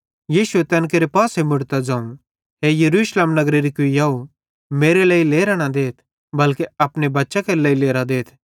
यीशुए तैन केरे पासे मुड़तां ज़ोवं हे यरूशलेम नगरेरी कुइयाव मेरे लेइ लेरां न देथ बल्के अपने बच्चां केरे लेइ लेरां देथ